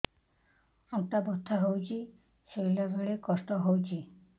ଅଣ୍ଟା ବଥା ହଉଛି ଶୋଇଲା ବେଳେ କଷ୍ଟ ହଉଛି